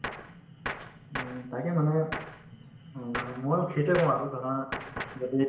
তাকে মানুহে অ ময়ো সেইটোয়ে কওঁ আৰু ধৰা